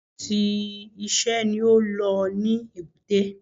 Oríṣìíríṣìí i iṣẹ́ ni ó lọ ní èbúté